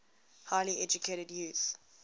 highly educated youth